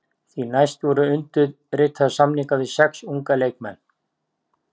Því næst voru undirritaðir samningar við sex unga leikmenn.